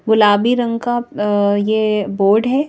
गुलाबी रंग का अअ ये बोर्ड है।